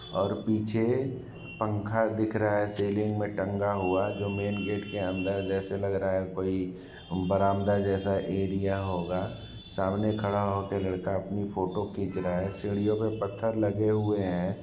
--और पीछे पंखा दिख रहा है सीलिंग में टंगा हुआ जो मैन गेट के अंदर जैसे लग रहा है कोई बरामदा जैसा एरिया होगा सामने खड़ा हो के लड़का अपनी फोटो खींच रहा है सीढ़ियों पर पत्थर लगे हुए है।